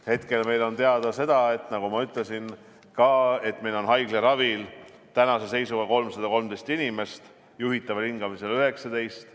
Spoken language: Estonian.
Hetkel on teada see, nagu ma ka ütlesin, et meil on haiglaravil tänase seisuga 313 inimest, juhitaval hingamisel 19.